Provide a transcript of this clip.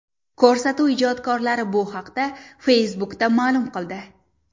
Ko‘rsatuv ijodkorlari bu haqda Facebook’da ma’lum qildi .